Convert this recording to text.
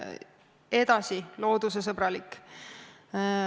Edasi, loodusesõbralikkus.